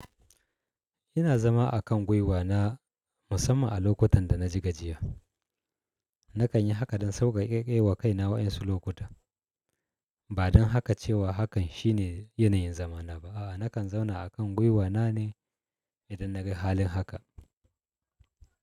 Ina zama a kan gwiwa na musamman a lokutan da na ji gajiya. Nakan yi haka dan sauƙaƙe wa kaina wasu lokuta. Ba dan haka cewa hakan shine yanayin zama na ba. A'a, nakan zauna a kan gwiwa na ne idan na ga halin haka.